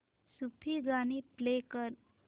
सूफी गाणी प्ले कर